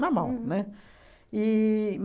Normal, né? E